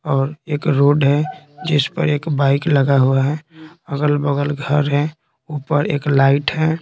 और एक रोड है जिस पर एक बाइक लगा हुआ है अगल-बगल घर है ऊपर एक लाइट है।